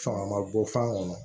Fanga ma bɔ fan kɔnɔ